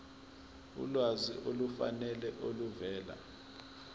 ulwazi olufanele oluvela